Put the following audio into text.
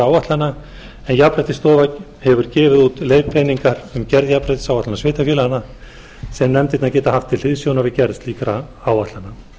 áætlana en jafnréttisstofa hefur gefið út leiðbeiningar um gerð jafnréttisáætlana sveitarfélaga sem nefndirnar geta haft til hliðsjónar við gerð slíkra áætlana